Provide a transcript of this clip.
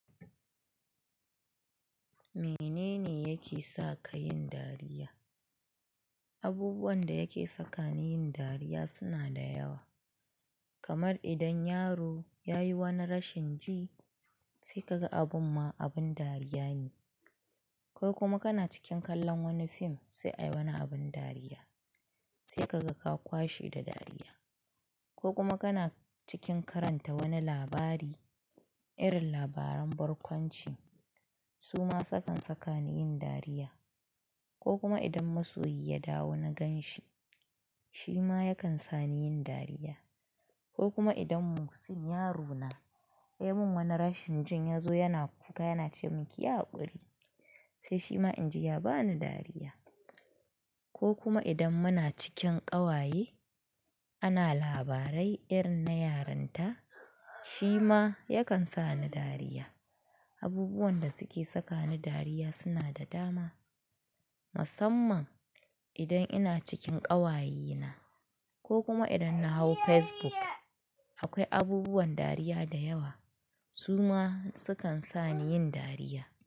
Menene yake sa ka yin dariya? Abubuwan da yake saka ni yin dariya suna da yawa. Kamar idan yaro ya yi wani rashin ji, sai kaga abun ma abin dariya ne. Ko kuma kana cikin kallon wani fim, sai ayi wani abin dariya, sai kaga ka kwashe da dariya. Ko kuma kana cikin karanta wani labari, irin labaran barkwanci, su ma sukan saka ni yin dariya. Ko kuma idan masoyi ya dawo na gan shi, shi ma yakan sa ni yin dariya. Ko kuma idan Muhsin, yaro na, ya mun wani rashin jin, ya zo yana kuka yana ce mun "kiyi hakuri", sai shi ma in ji ya ba ni dariya. Ko kuma idan muna cikin ƙawaye, ana labarai irin na yaranta, shi ma yakan sa ni dariya. Abubuwan da suke saka ni dariya suna da dama. Musamman idan ina cikin ƙawaye na, ko kuma idan na hau Facebook, akwai abubuwan dariya da yawa, su ma sukan sa ni yin dariya.